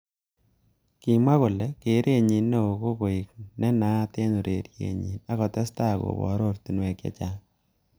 Kimwa kole keret nyi neo ko koek nenaat eng ureriet nyi ak kotestai kobor oratunwek chechang.